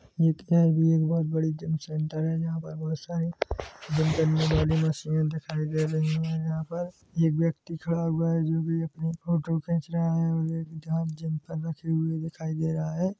ये एक बहुत बड़ी जीम सेण्टर है जहाँ पर बहुत सारी मशीने दिखाई दे रही है जहाँ पर एक व्यक्ति खड़ा हुआ है जो की अपनी फोटो खींच रहा है और जहाँ जिम कवर रखी हुई दिखाई दे रहा है।